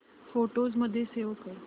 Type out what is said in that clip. photos मध्ये save कर